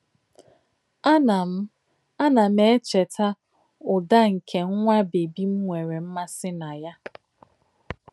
Ànà m Ànà m èchètà ụ̀dà nke nwá bèbì m nwèrè m̀màsí nà yà.